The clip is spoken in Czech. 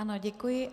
Ano, děkuji.